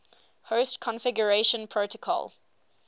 host configuration protocol